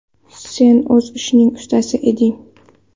Sen o‘z ishingning ustasi eding.